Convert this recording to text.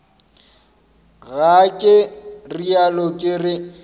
ga ke realo ke re